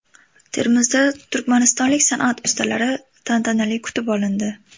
Termizda turkmanistonlik san’at ustalari tantanali kutib olindi.